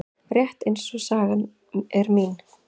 Rétt eins og sagan er mín.